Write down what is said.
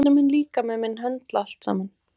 Hvernig mun líkami minn höndla allt saman?